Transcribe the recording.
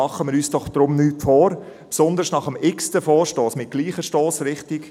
Machen wir uns deshalb doch nichts vor, besonders nach dem x-ten Vorstoss mit gleicher Stossrichtung: